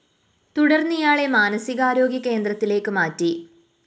തുടര്‍ന്ന് ഇയാളെ മാനസികാരോഗ്യ കേന്ദ്രത്തിലേക്ക് മാറ്റി